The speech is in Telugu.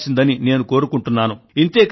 ఇంతే కాదు మార్పునకు మీరు నాయకత్వం వహించాలి